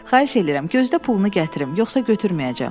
Xahiş edirəm, gözdə pulunu gətirim, yoxsa götürməyəcəm.